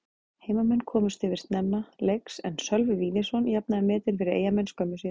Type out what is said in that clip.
Heimamenn komust yfir snemma leiks en Sölvi Víðisson jafnaði metin fyrir Eyjamenn skömmu síðar.